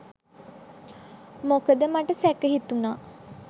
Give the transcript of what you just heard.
මොකද මට සැක හිතුණා